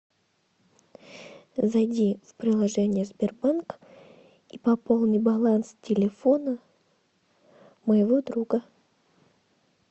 зайди в приложение сбербанк и пополни баланс телефона моего друга